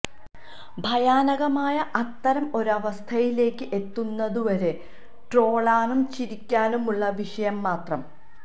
ഭയാനകമായ അത്തരം ഒരവസ്ഥയിലേക്ക് എത്തുന്നതു വരെ ട്രോളാനും ചിരിക്കാനുമുള്ള വിഷയം മാത്രം